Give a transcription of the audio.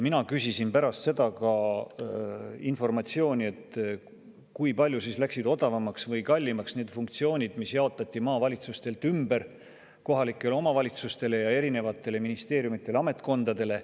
Mina küsisin pärast seda informatsiooni, et kui palju siis läksid odavamaks või kallimaks need funktsioonid, mis jaotati maavalitsustelt ümber kohalikele omavalitsustele ja erinevatele ministeeriumidele-ametkondadele.